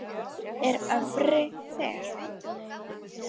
er öfri fer